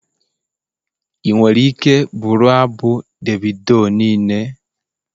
Ị nwere ike bụrụ abụ Davido niile?